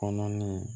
Kɔnɔna ni